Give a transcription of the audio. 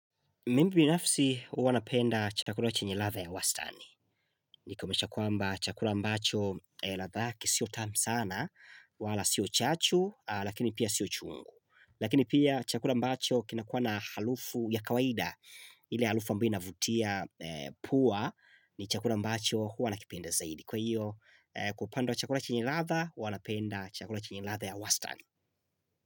Mimi binafsi huwa napenda chakula chenye ladha ya wastani. Nikomisha kwamba chakula ambacho ladha yake sio tamu sana, wala sio chachu lakini pia sio chungu. Lakini pia chakula ambacho kinakuwa na harufu ya kawaida ile harufu ambayo inavutia pua ni chakula ambacho huwa nakipenda zaidi. Kwa hiyo kwa upande wa chakula chenye ladha huwa napenda chakula chenye ladha ya wastani.